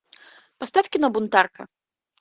поставь кино бунтарка